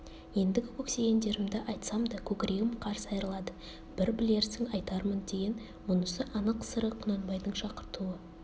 ендігі көксегендерімді айтсам да көкірегім қарс айрылады бір білерсің айтармын деген мұнысы анық сыры құнанбайдың шақыртуы